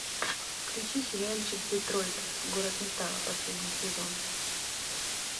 включи сериальчик детройт город металла последний сезон